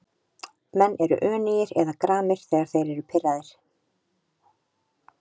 Menn eru önugir eða gramir þegar þeir eru pirraðir.